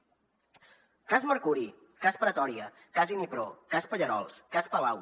cas mercuri cas pretòria cas inipro cas pallerols cas palau